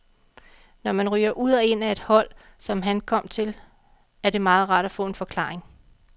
Når man ryger ud og ind af et hold, som han kom til, er det meget rart at få en forklaring.